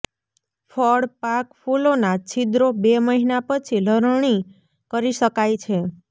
ફળ પાક ફૂલોના છિદ્રો બે મહિના પછી લણણી કરી શકાય છે